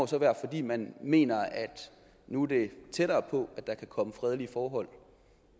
så være fordi man mener at nu er det tættere på at der kan komme fredelige forhold